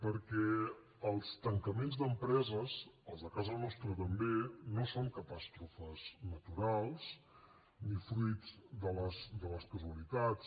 perquè els tancaments d’empreses els de casa nostra també no són catàstrofes naturals ni fruit de les casualitats